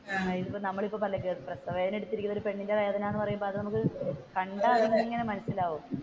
നമ്മളിപ്പോൾ പറഞ്ഞില്ലേ പ്രസവവേദന എടുത്തിരിക്കുന്ന ഒരു പെണ്ണിന്റെ വേദന എന്ന് പറയുമ്പോൾ അത് നമുക്ക്